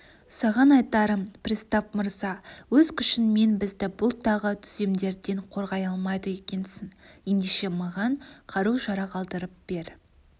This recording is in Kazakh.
саған айтарым пристав мырза өз күшіңмен бізді бұл тағы түземдерден қорғай алмайды екенсің ендеше маған қару-жарақ алдырып бер